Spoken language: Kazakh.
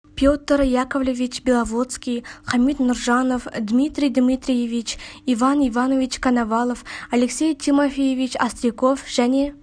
петр яковлевич беловодский хамит нұржанов дмитрий дмитриевич полстяной иван иванович коновалов алексей тимофеевич остриков және